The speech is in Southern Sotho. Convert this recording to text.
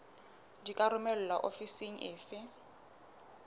di ka romelwa ofising efe